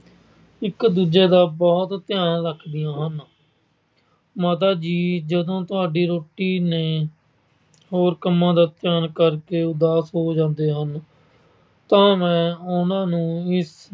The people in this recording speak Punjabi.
ਇੱਕ ਦੂਜੇ ਦਾ ਬਹੁਤ ਧਿਆਨ ਰੱਖਦੀਆਂ ਹਨ। ਮਾਤਾ ਜੀ ਜਦੋਂ ਤੁਹਾਡੀ ਰੋਟੀ ਤੇ ਹੋਰ ਕੰਮਾਂ ਦਾ ਧਿਆਨ ਕਰਕੇ ਉਦਾਸ ਹੋ ਜਾਂਦੇ ਹਨ ਤਾਂ ਮੈਂ ਉਹਨਾਂ ਨੂੰ ਇਸ